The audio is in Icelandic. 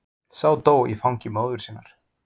Sá dó í fangi móður sinnar.